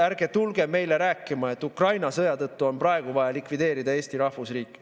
Ärge tulge meile rääkima, et Ukraina sõja tõttu on praegu vaja likvideerida Eesti rahvusriik.